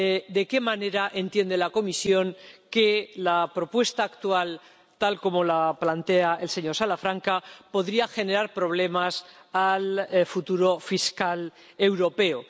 de qué manera entiende la Comisión que la propuesta actual, tal como la plantea el señor Salafranca, podría generar problemas a la futura Fiscalía Europea.